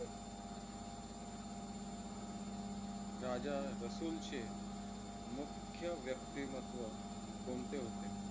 राजा रसूल चे मुख्य व्यक्तिमत्व कोणते होते?